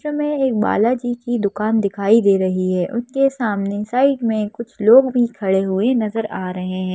चित्र में एक बालाजी की दुकान दिखाई दे रही है उसके सामने साइड में कुछ लोग भी खड़े हुए नजर आ रहे हैं।